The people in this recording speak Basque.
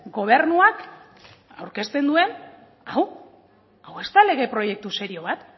gobernuak aurkezten duen hau hau ez da lege proiektu serio bat